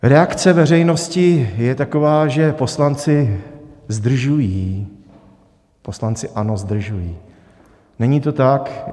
Reakce veřejnosti je taková, že poslanci zdržují, poslanci ANO zdržují, není to tak.